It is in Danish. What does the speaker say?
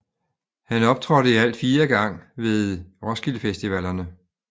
Han optrådte i alt fire gang ved Roskildefestivalerne